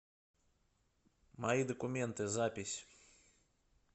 мои документы запись